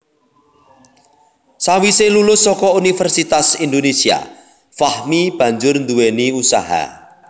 Sawise lulus saka Universitas Indonésia Fahmi banjur nduwèni usaha